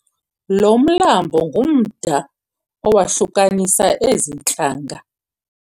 Lo mlambo ngumda owahlukanisa ezi ntlanga.